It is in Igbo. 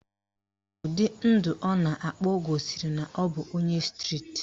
Ụdị ndụ ọ na-akpa gosiri na ọ bụ onye striti